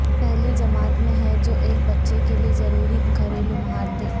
پہلی جماعت میں ہے جو ایک بچے کے لئے ضروری گھریلو مہارتیں